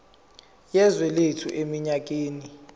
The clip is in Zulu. yezwe lethu eminyakeni